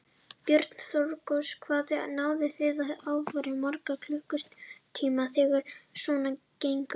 Björn Þorláksson: Hvað náið þið að afgreiða marga á klukkutíma þegar svona gengur?